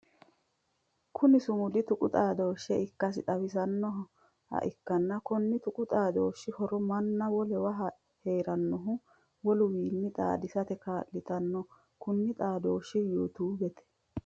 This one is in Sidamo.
Kunni sumudi tuqu xaadooshe ikasi xawisanoha ikanna konni tuqu xaadooshi horo manna wolewa heeranohu woluwiinni xaadisate kaa'litano kunni xaadooshi yuutuubete.